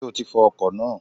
Sé o ti fọ ọkò náà?